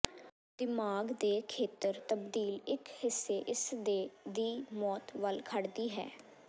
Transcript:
ਦਿਮਾਗ ਦੇ ਖੇਤਰ ਤਬਦੀਲ ਇੱਕ ਹਿੱਸੇ ਇਸਦੇ ਦੀ ਮੌਤ ਵੱਲ ਖੜਦੀ ਹੈ